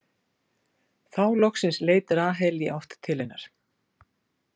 Þá loksins leit Rahel í átt til hennar.